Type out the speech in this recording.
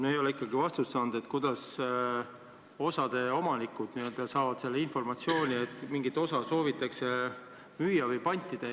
Ma ei ole ikkagi vastust saanud sellele, kuidas osade omanikud saavad informatsiooni, et mingit osa soovitakse müüa või pantida.